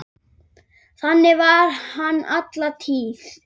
Þannig var hann alla tíð.